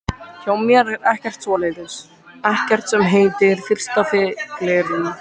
Hjá mér er ekkert svoleiðis, ekkert sem heitir fyrsta fylliríið.